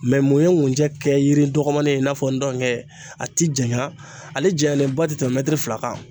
mun ye ŋunjɛ kɛ yiri dɔgɔmanin ye i n'a fɔ ndɔŋɛ a ti janya ale janyalenba te tɛmɛ fila kan.